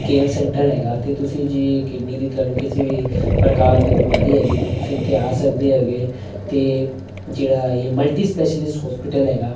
care centre ਹੈਗਾ ਤੇ ਤੁਸੀਂ ਜੇ ਕਿਡਨੀ ਦੀ ਤੁਹਾਨੂੰ ਕਿਸੇ ਵੀ ਪ੍ਰਕਾਰ ਦੀ ਬਿਮਾਰੀ ਹੈਗੀ ਤੇ ਤੁਸੀਂ ਇਥੇ ਆ ਸਕਦੇ ਹੈਗੇ ਤੇ ਜਿਹੜਾ ਇਹ ਮਲਟੀ ਸਪੈਸ਼ਲਿਸਟ ਹੋਸਪਿਟਲ ਹੈਗਾ--